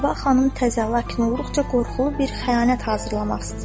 Səba xanım təzə, lakin qorxunc, qorxulu bir xəyanət hazırlamaq istəyir.